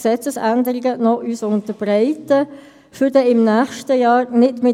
Sie sehen, der zweite Vizepräsident hat sich für heute Nachmittag entschuldigt.